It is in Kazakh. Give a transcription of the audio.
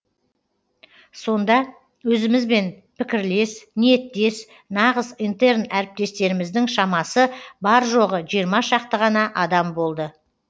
сонда өзімізбен пікірлес ниеттес нағыз интерн әріптестеріміздің шамасы бар жоғы жиырма шақты ғана адам болды